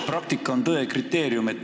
Praktika on tõe kriteerium.